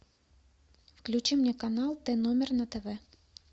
включи мне канал т номер на тв